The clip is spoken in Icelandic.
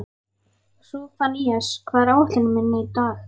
Sophanías, hvað er á áætluninni minni í dag?